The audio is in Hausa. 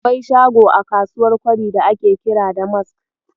Akwai shago a kasuwar Kwari da ake kira Damask.